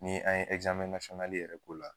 Ni an ye yɛrɛ k'o la.